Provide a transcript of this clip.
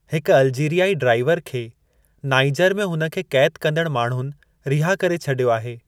हिकु अल्जीरियाई ड्राइवर खे नाइजर में हुन खे क़ैदु कंदड़ु माण्हुनि रिहा करे छडि॒यो आहे।